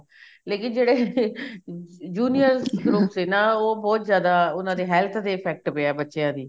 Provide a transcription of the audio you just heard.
ਲੇਕਿਨ ਜਿਹੜੇ juniors group ਦੇ ਨਾ ਉਹ ਬਹੁਤ ਜਿਆਦ ਉਹਨਾ ਦੀ health ਤੇ effect ਪਿਆ ਬੱਚਿਆਂ ਦੀ